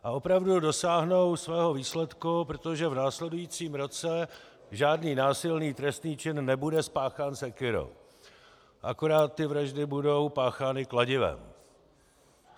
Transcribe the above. A opravdu dosáhnou toho výsledku, protože v následujícím roce žádný násilný trestný čin nebude spáchán sekyrou, akorát ty vraždy budou páchány kladivem.